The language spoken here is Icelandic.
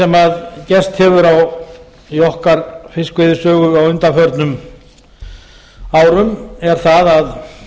það sem gerst hefur í okkar fiskveiðisögu á undanförnum árum er það að